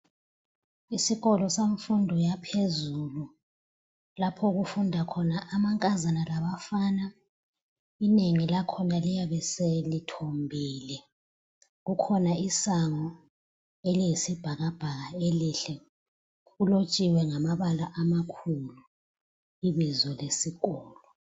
Isikolo semfundo yaphezulu lapho okufunda khona amankazana labafana. Abanye bakhona bayabe sebethombile , kukhona isango eliyisibhakabhaka elihle kulotshiwe ngamabala amakhulu ibizo lesikolo.